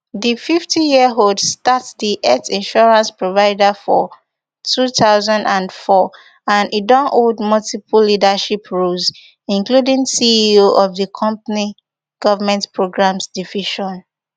di fiftyyearold start for di health insurance provider for two thousand and four and e don hold multiple leadership roles including ceo of di company government programs division